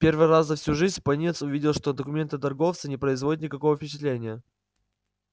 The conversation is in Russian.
в первый раз за всю жизнь пониетс увидел что документы торговца не производят никакого впечатления